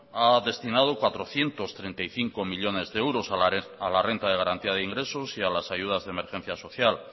ha destinado cuatrocientos treinta y cinco millónes de euros a la renta de garantía de ingresos y a las ayudas de emergencia social